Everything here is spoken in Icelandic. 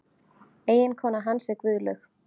Eiginkona hans er Guðlaug